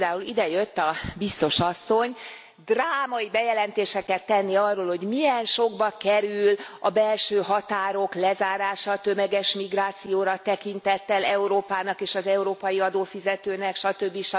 Most például ide jött a Biztos Asszony drámai bejelentéseket tenni arról, hogy milyen sokba kerül a belső határok lezárása a tömeges migrációra tekintettel Európának, és az európai adófizetőknek, stb.,